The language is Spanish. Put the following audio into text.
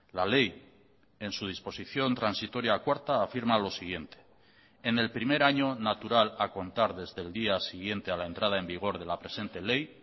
la ley en su disposición transitoria cuarta afirma lo siguiente en el primer año natural a contar desde el día siguiente a la entrada en vigor de la presente ley